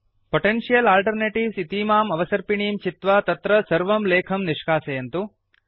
potential alternatives इतीमाम् अवसर्पिणीं चित्वा तत्र सर्वं लेखं निष्कासयन्तु